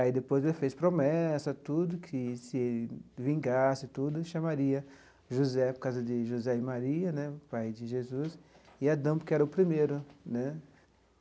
Aí depois ele fez promessa, tudo, que se vingasse, tudo, chamaria José, por causa de José e Maria, né, pai de Jesus, e Adão, porque era o primeiro, né?